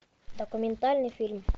документальный фильм